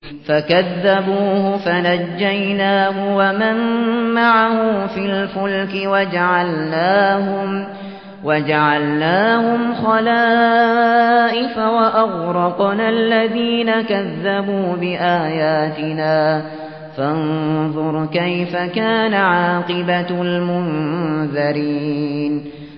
فَكَذَّبُوهُ فَنَجَّيْنَاهُ وَمَن مَّعَهُ فِي الْفُلْكِ وَجَعَلْنَاهُمْ خَلَائِفَ وَأَغْرَقْنَا الَّذِينَ كَذَّبُوا بِآيَاتِنَا ۖ فَانظُرْ كَيْفَ كَانَ عَاقِبَةُ الْمُنذَرِينَ